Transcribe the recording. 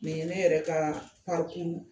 Nin ye ne yɛrɛ ka